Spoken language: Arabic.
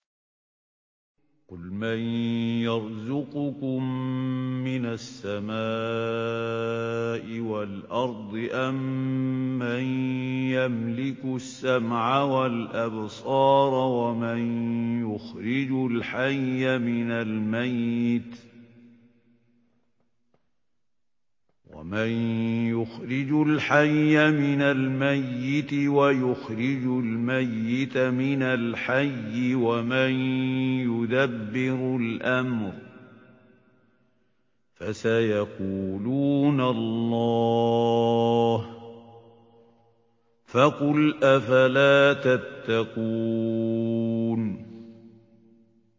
قُلْ مَن يَرْزُقُكُم مِّنَ السَّمَاءِ وَالْأَرْضِ أَمَّن يَمْلِكُ السَّمْعَ وَالْأَبْصَارَ وَمَن يُخْرِجُ الْحَيَّ مِنَ الْمَيِّتِ وَيُخْرِجُ الْمَيِّتَ مِنَ الْحَيِّ وَمَن يُدَبِّرُ الْأَمْرَ ۚ فَسَيَقُولُونَ اللَّهُ ۚ فَقُلْ أَفَلَا تَتَّقُونَ